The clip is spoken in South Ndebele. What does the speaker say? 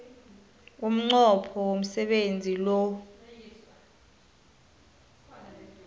umnqopho womsebenzi lo